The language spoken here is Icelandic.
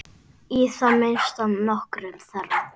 Í það minnsta nokkrum þeirra.